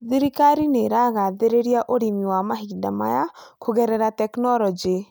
Thirikari nĩ ĩragathĩrĩria ũrĩmi wa mahinda maya kũgerera tekinolonjĩ.